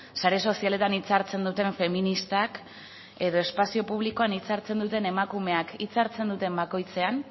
sare sozialetan hitza hartzen duten feministak edo espazio publikoan hitza hartzen duten emakumeak hitza hartzen duten bakoitzean